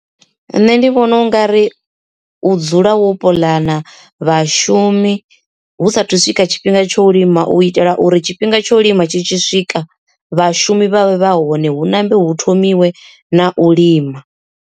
Nṋe ndi vhona ungari u dzula hone puḽana vhashumi hu sathu swika tshifhinga tsho u lima u itela uri tshifhinga tsho u lima tshi tshi swika vhashumi vha vhe vha hone hu nambe hu thomiwa na u lima.